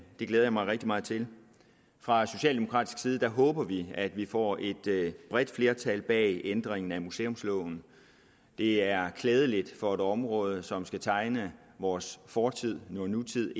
det glæder jeg mig rigtig meget til fra socialdemokratisk side håber vi at vi får et bredt flertal bag ændringen af museumsloven det er klædeligt for et område som skal tegne vores fortid nutid